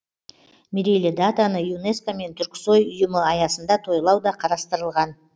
мерейлі датаны юнеско мен түрксой ұйымы аясында тойлау да қарастырылған